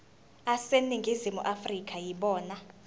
aseningizimu afrika yibona